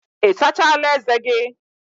Ị sachala ezé gị?